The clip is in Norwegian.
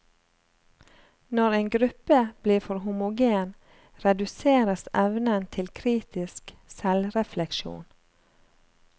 Når en gruppe blir for homogen, reduseres evnen til kritisk selvrefleksjon.